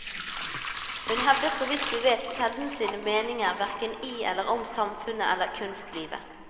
Hun hevdet, så vidt vi vet, sjelden sine meninger hverken i eller om samfunnet eller kunstlivet.